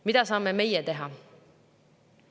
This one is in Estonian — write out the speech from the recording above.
Mida saame meie teha?